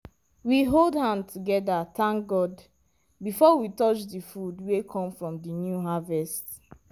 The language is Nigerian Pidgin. we hold hand together thank god before we touch the food wey come from the new harvest.